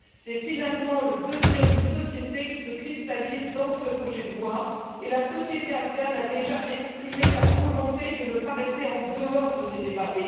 C'est finalement le devenir d'une société qui se cristallise dans ce projet de loi, et la société afghane a déjà exprimé sa volonté de ne pas rester en dehors de ces débats.